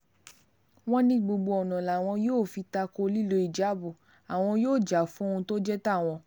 wọ́n ní gbogbo ọ̀nà làwọn yóò fi ta ko lílo híjáàbù àwọn yóò jà fún ohun tó jẹ́ tàwọn